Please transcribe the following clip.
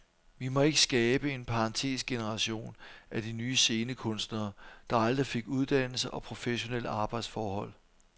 Vi må ikke skabe en parentesgeneration af de nye scenekunstnere, der aldrig fik uddannelse og professionelle arbejdsforhold.